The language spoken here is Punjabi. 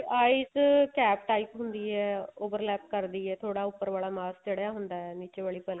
eyes cap type ਹੁੰਦੀ ਏ ਕਰਦੀ ਏ ਥੋੜਾ ਉੱਪਰ ਵਾਲਾ ਮਾਸ ਚੜਿਆ ਹੁੰਦਾ ਨੀਚੇ ਵਾਲੀ ਪਲਕ